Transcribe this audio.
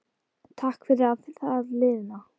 Takk fyrir það liðna.